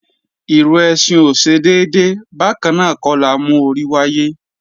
Ìrù ẹṣin ò ṣe déédé, bákannáà kọ́ la mú orí wáyé.